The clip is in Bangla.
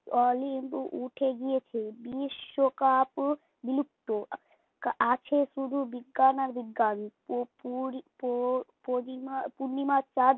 অলিম্ব উঠে গিয়েছে, বিশ্বকাপ ও বিলুপ্ত আছে শুধু বিজ্ঞান আর বিজ্ঞান প পুরি পড়ি পরিমা পূর্ণিমার চাঁদ